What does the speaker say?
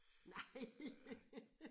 Nej!